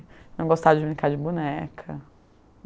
Não gostava de brincar de boneca.